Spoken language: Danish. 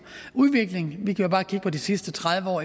udvikling vi kan jo bare kigge på de sidste tredive år